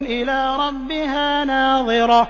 إِلَىٰ رَبِّهَا نَاظِرَةٌ